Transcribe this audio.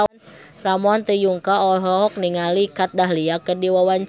Ramon T. Yungka olohok ningali Kat Dahlia keur diwawancara